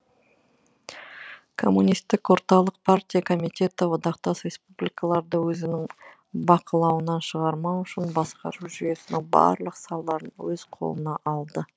коммунистік орталық партия комитеті одақтас республикаларды өзінің бақылауынан шығармау үшін басқару жүйесінің барлық салаларын өз қолына алды